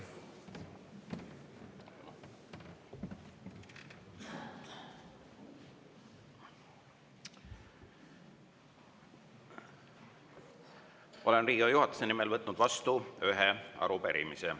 Olen Riigikogu juhatuse nimel võtnud vastu ühe arupärimise.